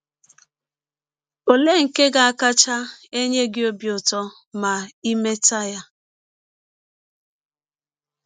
Ọlee nke ga - akacha enye gị ọbi ụtọ ma i mete ya?